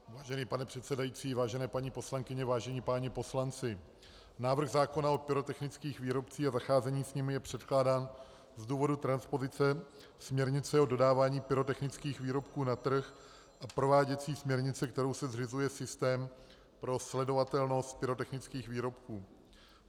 Vážený pane předsedající, vážené paní poslankyně, vážení páni poslanci, návrh zákona o pyrotechnických výrobcích a zacházení s nimi je předkládán z důvodu transpozice směrnice o dodávání pyrotechnických výrobků na trh a prováděcí směrnice, kterou se zřizuje systém pro sledovatelnost pyrotechnických výrobků.